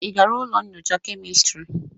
Ị gara ụlọ nyocha kemistri?